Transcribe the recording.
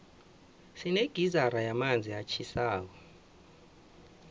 sinegizara yamanzi atjhisako